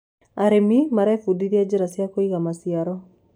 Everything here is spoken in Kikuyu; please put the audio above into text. arĩmi marebundithia njira cia kuiga maciaro